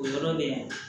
O yɔrɔ bɛ